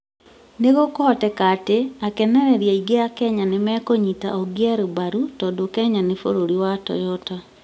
No kũhoteke atĩ, akenereri aingĩ a Kenya nĩ mekũnyita Ogier mbaru tondũ Kenya nĩ bũrũri wa Toyota,